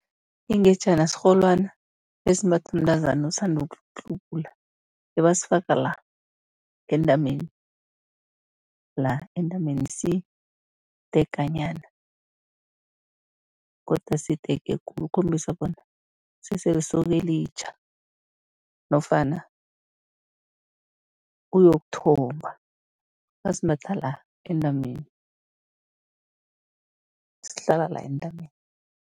Ingejana sirholwana esimbathwa mntazana osanda ukuhlubula, ebasifaka la entameni la entameni, sideganyana godu asidege khulu ukukhombisa bona kusese lisoka elitjha nofana uyokuthomba, basimbatha la entameni, sihlala la entameni.